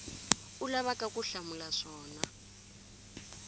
u lavaka ku hlamula swona